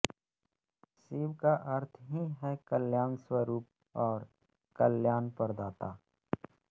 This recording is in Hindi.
शिव का अर्थ ही है कल्याणस्वरूप और कल्याणप्रदाता